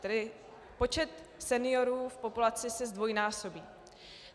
Tedy počet seniorů v populaci se zdvojnásobí.